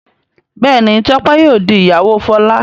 Béèni Tope yíò dì ìyàwó Fola.